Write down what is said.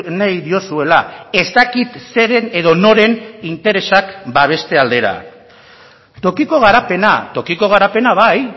nahi diozuela ez dakit zeren edo noren interesak babeste aldera tokiko garapena tokiko garapena bai